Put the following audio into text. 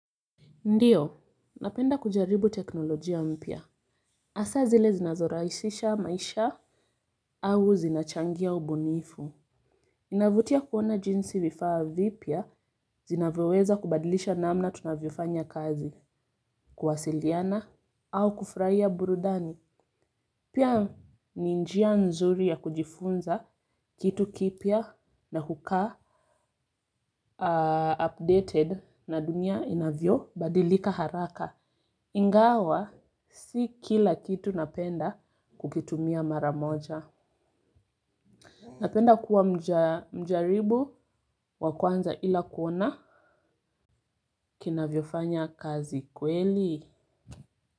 Ndiyo, napenda kujaribu teknolojia mpya. Hasaa zile zinazoraisisha maisha au zinachangia ubunifu. Inavutia kuona jinsi vifaa vipya zinavyoweza kubadilisha namna tunavyafanya kazi, kuwasiliana au kufurahia burudani. Pia ni njia nzuri ya kujifunza kitu kipya na hukaa updated na dunia inavyo badilika haraka. Ingawa si kila kitu napenda kukitumia mara moja napenda kuwa mjaribu wa kwanza ila kuona kinavyofanya kazi kweli?